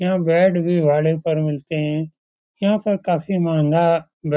यहाँ बेड भी भाड़े पे मिलते हैं। यहाँ पर काफी मंहगा